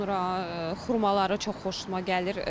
Sonra xurmaları çox xoşuma gəlir.